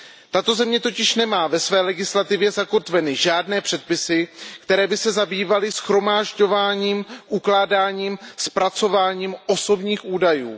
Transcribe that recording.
Tato země totiž nemá ve své legislativě zakotveny žádné předpisy, které by se zabývaly shromažďováním, ukládáním, zpracováním osobních údajů.